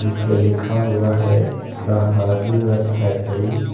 ये लिखा हुआ है द हाजिल नट फैक्ट्री ।